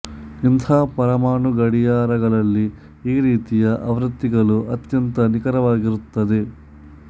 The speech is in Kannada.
ಇಂತಹ ಪರಮಾಣು ಗಡಿಯಾರಗಳಲ್ಲಿ ಈ ರೀತಿಯ ಆವೃತಿಗಳು ಅತ್ಯಂತ ನಿಖರವಾಗಿರುತ್ತದೆ